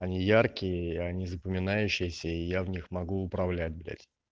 они яркие они запоминающиеся и я в них могу управлять блять